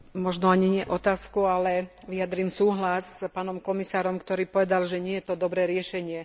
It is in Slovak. Možno ani nie otázku, ale vyjadrím súhlas s pánom komisárom, ktorý povedal, že nie je to dobré riešenie.